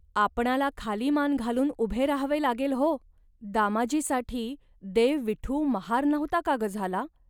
आपणांला खाली मान घालून उभे राहावे लागेल, हो. दामाजीसाठी देव विठू महार नव्हता का ग झाला